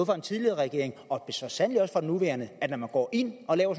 den tidligere regering og så sandelig også fra den nuværende at når man går ind og laver